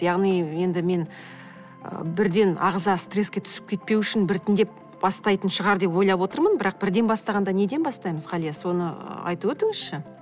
яғни енді мен ы бірден ағза стресске түсіп кетпеу үшін біртіндеп бастайтын шығар деп ойлап отырмын бірақ бірден бастағанда неден бастаймыз ғалия соны ы айтып өтіңізші